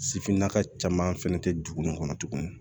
Sifinnaka caman fana tɛ dugu in kɔnɔ tuguni